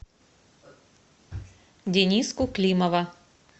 дениску климова